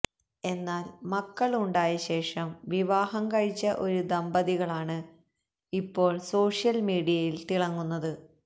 എന്നാൽ മക്കൾ ഉണ്ടായശേഷം വിവാഹം കഴിച്ച ഒരു ദമ്പതികളാണ് ഇപ്പോൾ സോഷ്യൽ മീഡിയയിൽ തിളങ്ങുന്നത്